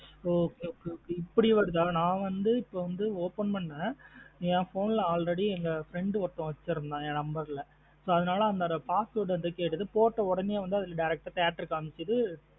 Okay okay இப்டி வருதா ந வந்து இப்ப வந்து open பண்ணுனான் என் phone லா already என் friend ஒருத்தன் வச்சிருந்தன் என் number லா. so அதுனால password கேட்டுது direct ஆ போட்ட உடனே வந்து direct theatre காமிக்குது.